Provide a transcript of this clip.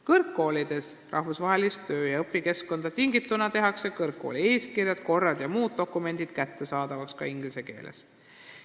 Kõrgkoolides tehakse rahvusvahelisest töö- ja õpikeskkonnast tingituna kõrgkooli eeskirjad, korrad ja muud dokumendid kättesaadavaks ka inglise keeles.